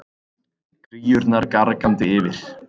Kríurnar gargandi yfir.